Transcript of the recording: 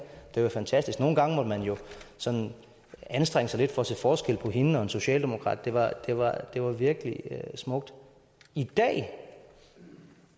det var jo fantastisk nogle gange måtte man jo sådan anstrenge sig lidt for at se forskel på hende og en socialdemokrat det var det var virkelig smukt i dag